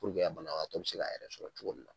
Purke banabato bɛ se k'a yɛrɛ sɔrɔ cogo !min la.